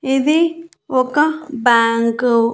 ఇది ఒక బ్యాంకు .